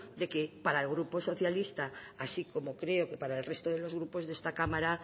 de que para el grupo socialista así como creo que para el resto de los grupos de esta cámara